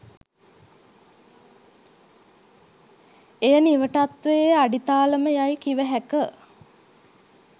එය නිවටත්වයේ අඩිතාලම යයි කිවහැක